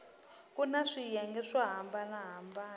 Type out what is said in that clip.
kuna swiyenge swo hambana hambana